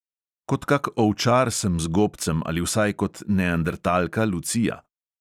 Kot kak ovčar sem z gobcem ali vsaj kot neandertalka lucija.